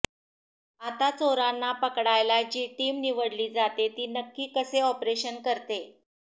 आता चोरांना पकडायला जी टीम निवडली जाते ती नक्की कसे ऑपरेशन करते